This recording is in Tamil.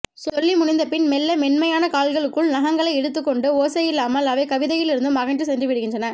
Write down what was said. சொல்லி முடிந்தபின் மெல்ல மென்மையான கால்களுக்குள் நகங்களை இழுத்துக் கொண்டு ஓசையில்லாமல் அவை கவிதையிலிருந்தும் அகன்று சென்றுவிடுகின்றன